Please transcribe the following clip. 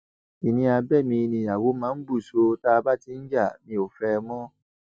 kinni abẹ mi níyàwó máa ń bù sọ tá a bá ti ń jà mi ò fẹ ẹ mọ